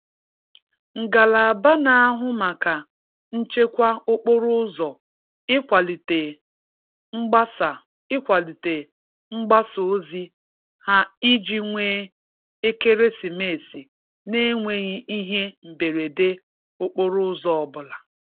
Ngalaba n'ahụ maka nchekwa okporo ụzọ ịkwalite mgbasa ịkwalite mgbasa ozi ha iji nwee ekeresimesi n'enweghi ihe mberede okporo ụzọ ọbụla.